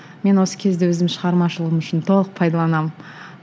мен осы кезді өзім шығармашылығым үшін толық пайдаланамын